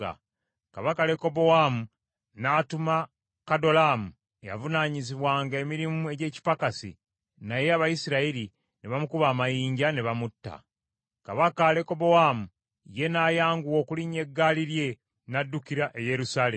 Kabaka Lekobowaamu n’atuma Kadolaamu eyavunaanyizibwanga emirimu egy’ekipakasi, naye Abayisirayiri ne bamukuba amayinja ne bamutta. Kabaka Lekobowaamu ye n’ayanguwa okulinnya eggaali lye n’addukira e Yerusaalemi.